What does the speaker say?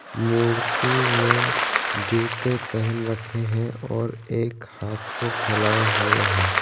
मूर्ति ने जूते पेहन रखे है और एक हथ को फैलाए हुए है।